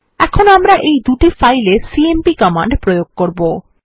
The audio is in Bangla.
এখন আমরা এই দুই ফাইল এ সিএমপি কমান্ড প্রয়োগ করবো